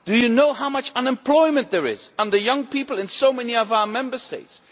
Do you know how much unemployment there is among young people in so many of our Member States?